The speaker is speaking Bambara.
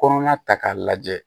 Kɔnɔna ta k'a lajɛ